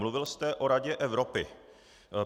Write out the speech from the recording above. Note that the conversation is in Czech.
Mluvil jste o Radě Evropy.